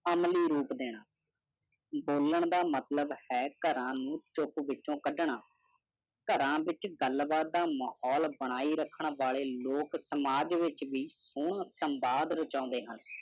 ਅਮਲੀ ਰੂਪ ਦੇਣਾ ਬੋਲਾਂ ਦਾ ਮਤਲਵ ਹੈ ਕ਼ ਕਰਾ ਨੂੰ ਚੁੱਪ ਵਿੱਚੋ ਕਢਣਾ ਕਰ ਵਿਚ ਗੱਲ ਬਾਤ ਦਾ ਮਾਹੌਲ ਬਣਾਈ ਰੱਖਣ ਵਾਲੇ ਲੋਕ ਸਮਾਜ ਵਿਚ ਵੀ ਹੁਣ ਸੰਬਾਦ ਰਾਚੋੰਦੇ ਹਨ